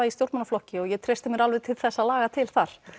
í stjórnmálaflokki og ég treysti mér alveg til þess að laga til þar